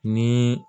Ni